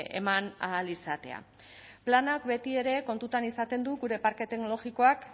eman ahal izatea planak betiere kontutan izaten du gure parke teknologikoak